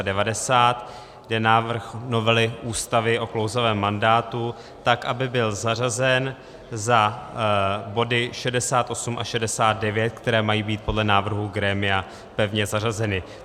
Jde o návrh novely Ústavy o klouzavém mandátu, tak aby byl zařazen za body 68 a 69, které mají být podle návrhu grémia pevně zařazeny.